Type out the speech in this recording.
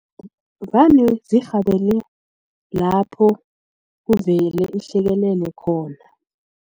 Vane zirhabele lapho kuvele ihlekelele khona.